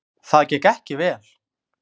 Það gekk ekki vel!